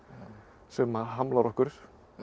sem að hamlar okkur